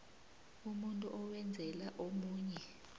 umuntu owenzela omunye